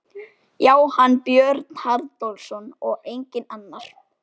Já, hann, Björn Haraldsson, og enginn annar!